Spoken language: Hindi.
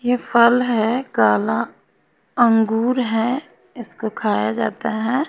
ये फल है काला अंगूर है इसको खाया जाता है।